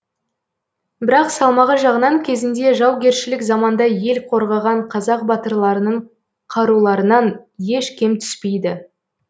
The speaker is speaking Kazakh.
бірақ салмағы жағынан кезінде жаугершілік заманда ел қорғаған қазақ батырларының қаруларынан еш кем түспейді